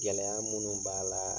Gɛlɛya minnu b'a la